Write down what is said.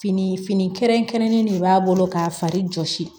Fini fini kɛrɛnkɛrɛnnen de b'a bolo k'a fari jɔsi